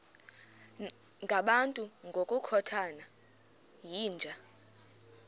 ngabantu ngokukhothana yinja